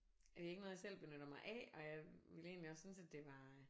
Det er ikke noget jeg selv benytter mig af og jeg ville egentlig også synes at det var